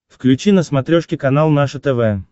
включи на смотрешке канал наше тв